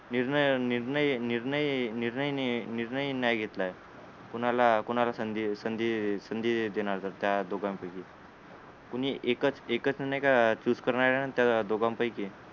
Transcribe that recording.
निर्णय निर्णय निर्णय निर्णय नाही निर्णय नाही घेतलाय कुणाला कुणाला संधी संधी संधी देणार तर त्या दोघांपैकी कुणी एकच एकच नाहीका choose करणार हे त्या दोघांपैकी